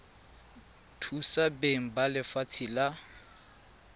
thusa beng ba lefatshe la